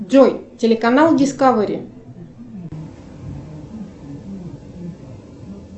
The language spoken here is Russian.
джой телеканал дискавери